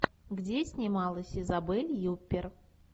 где снималась изабель юппер